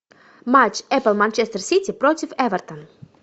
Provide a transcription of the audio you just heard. матч апл манчестер сити против эвертон